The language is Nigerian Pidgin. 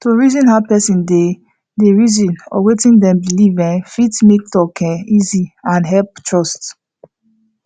to reason how person dey dey reason or wetin dem believe um fit make talk um easy and helep trust